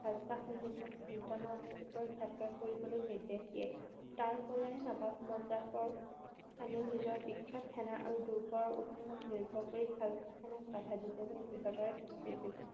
খালছা সৈনিকক মুলতানৰ ওপৰত যাত্ৰা কৰিবলৈ নিৰ্দেশ দিয়ে। তাৰ পৰাই নবাব মুৰজাফৰ খানেও নিজৰ বিখ্যাত সেনা আৰু দুৰ্গৰ ওপৰত নিৰ্ভৰ কৰি খালছা সেনাক বাধা দিবলৈ দৃহতাৰে থিয় দিছিল।